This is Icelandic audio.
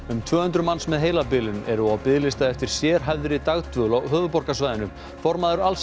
um tvö hundruð manns með heilabilun eru á biðlista eftir sérhæfðri dagdvöl á höfuðborgarsvæðinu formaður